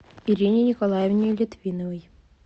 ирине николаевне литвиновой